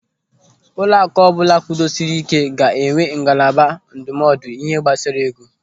Ụlọaku ọbụla kwudosiri ị́ké ga-enwe ngalaba ndụmọdụ ihe gbasara ego.